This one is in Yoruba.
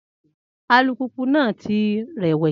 Alùpùpù náà ti rẹ̀wẹ̀sì.